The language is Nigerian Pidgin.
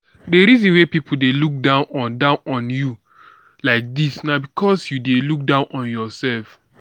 the reason wey people dey look down on down on you like dis na because you dey look down on yourself